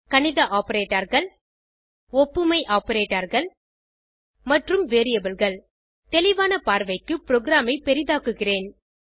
கணித operatorகள் ஒப்புமை operatorகள் மற்றும் Variableகள் தெளிவான பார்வைக்கு புரோகிராம் ஐ பெரிதாக்குகிறேன்